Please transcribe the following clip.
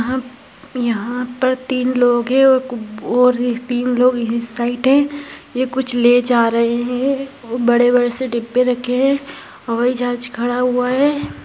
यहाँ पर तीन लोग है और एक तीन लोक इस साइड है ये कुछ ले जा रहे है और बड़े-बड़े से डिब्बे रखे है। हवाई जहाज खड़ा हुआ है।